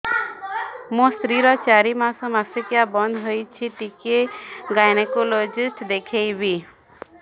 ମୋ ସ୍ତ୍ରୀ ର ଚାରି ମାସ ମାସିକିଆ ବନ୍ଦ ହେଇଛି ଟିକେ ଗାଇନେକୋଲୋଜିଷ୍ଟ ଦେଖେଇବି